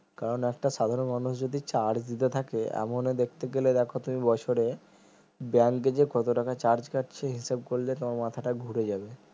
কারণ একটা সাধারণ মানুষ যদি charge দিতে থাকে এমন দেখতে গেলে দেখো তুমি বছরে bank যে কত টাকা charge কাটছে হিসাব করলে তোমার মাথাটা ঘুরে যাবে